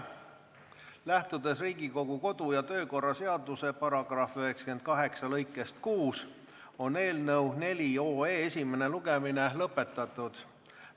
Lähtudes Riigikogu kodu- ja töökorra seaduse § 98 lõikest 6, on eelnõu 4 esimene lugemine lõpetatud.